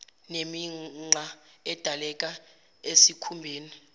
nemigqa edaleka esikhumbeni